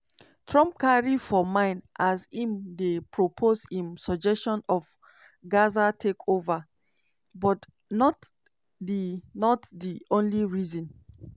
trump carry for mind as im dey propose im suggestion of gaza takeover but not di not di only reason.